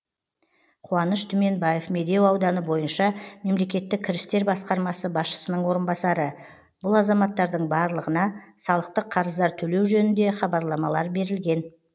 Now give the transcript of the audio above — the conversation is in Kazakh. қуаныш түменбаев медеу ауданы бойынша мемлекеттік кірістер басқармасы басшысының орынбасары бұл азаматтардың барлығына салықтық қарыздар төлеу жөнінде хабарламалар берілген